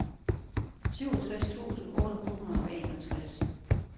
syvogtres tusind otte hundrede og enogtres